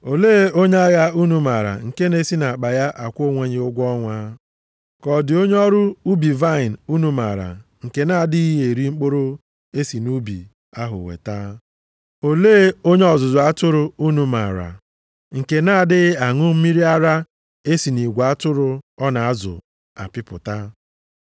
Olee onye agha unu maara nke na-esi nʼakpa ya akwụ onwe ya ụgwọ ọnwa? Ka ọ dị onye ọrụ ubi vaịnị unu maara nke na-adịghị eri mkpụrụ e si nʼubi ahụ weta? Olee onye ọzụzụ atụrụ unu maara nke na-adịghị aṅụ mmiri ara e si nʼigwe atụrụ ọ na-azụ apịpụta?